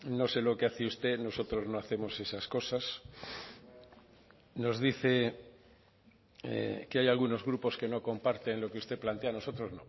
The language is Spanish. no sé lo que hace usted nosotros no hacemos esas cosas nos dice que hay algunos grupos que no comparten lo que usted plantea nosotros